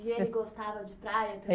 E ele gostava de praia